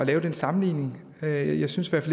lave den sammenligning jeg jeg synes